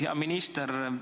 Hea minister!